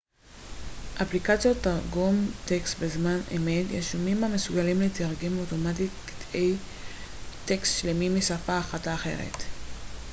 אפליקציות תרגום טקסט בזמן אמת יישומים המסוגלים לתרגם אוטומטית קטעי טקסט שלמים משפה אחת לאחרת